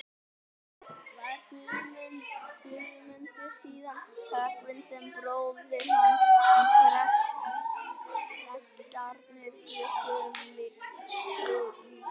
Var Guðmundur síðan höggvinn sem bróðir hans, en prestarnir bjuggu um líkin.